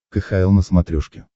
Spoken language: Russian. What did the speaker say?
кхл на смотрешке